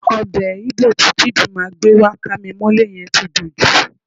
Ọbẹ̀ Íbò tí Chidima gbé wá kámimọ́lé yẹn ti dùn jù.